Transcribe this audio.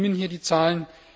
Stimmen hier die Zahlen?